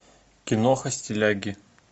киноха стиляги